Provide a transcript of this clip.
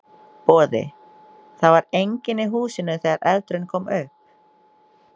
Boði: Það var enginn í húsinu þegar eldurinn kom upp?